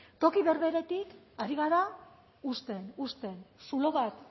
toki berberetik ari gara husten husten zulo bat